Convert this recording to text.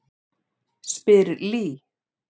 spyr Lee.